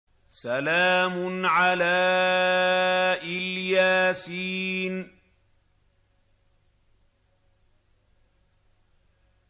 سَلَامٌ عَلَىٰ إِلْ يَاسِينَ